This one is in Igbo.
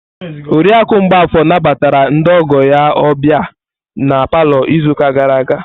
Oriakụ Mgbafor nabatara ndị ọgọ ya ọbịa na palọ izu ụka gara aga.